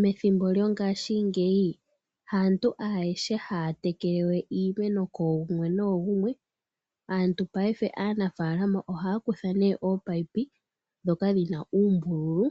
Methimbo lyongaashingeyi haantu ayehe haya tekele we iimeno kooyimwe noyimwe. Aanafalama ohaya kutha ominino dhomeya ndhoka dhina uumbululu